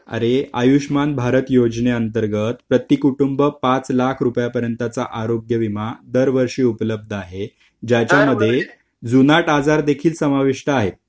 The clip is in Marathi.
अरे आयुष्मान भारत योजना अंतर्गत प्रती कुटुंब पाच लाख रुपये पर्यंतचा आरोग्यविमा दर वर्षी उपलब्ध आहे ज्यामध्ये जुनाट आजार देखील समाविष्ट आहे